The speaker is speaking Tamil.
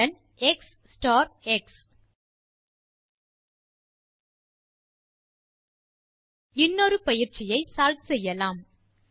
ரிட்டர்ன் எக்ஸ் ஸ்டார் எக்ஸ் இன்னொரு எக்ஸர்சைஸ் ஐ சால்வ் செய்யலாம்